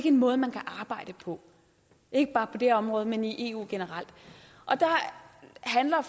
en måde man kan arbejde på ikke bare på det her område men i eu generelt der handler